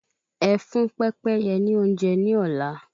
Ẹ fún pépéye ni oúnjẹ ni ola